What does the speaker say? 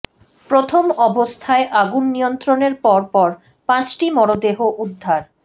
প্রথম অবস্থায় আগুন নিয়ন্ত্রণের পর পর পাঁচটি মরদেহ উদ্ধার